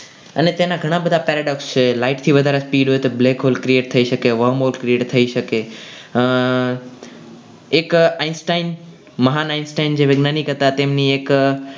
અને તેના ઘણા બધા કાયદાઓ છે. light થી વધારે speed હોય તો black hole create થઈ શકે વમોળ create થઈ શકે એક Einstein મહાન Einstein જે વૈજ્ઞાનિક હતા તેમની એક